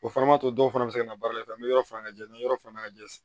O fana b'a to dɔw fana bɛ se ka na baara kɛ an bɛ yɔrɔ fana lajɛ ni yɔrɔ fana ka jɛ